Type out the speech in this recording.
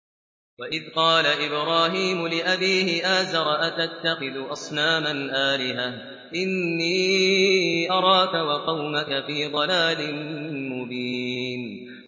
۞ وَإِذْ قَالَ إِبْرَاهِيمُ لِأَبِيهِ آزَرَ أَتَتَّخِذُ أَصْنَامًا آلِهَةً ۖ إِنِّي أَرَاكَ وَقَوْمَكَ فِي ضَلَالٍ مُّبِينٍ